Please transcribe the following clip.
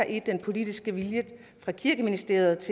i den politiske vilje fra kirkeministeriets